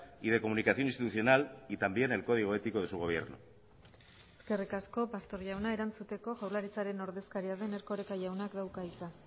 y de comunicación institucional y también el código ético de su gobierno eskerrik asko pastor jauna erantzuteko jaurlaritzaren ordezkaria den erkoreka jaunak dauka hitza